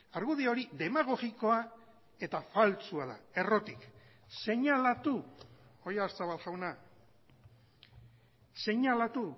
argudio hori demagogikoa eta faltsua da errotik seinalatu oyarzabal jauna seinalatu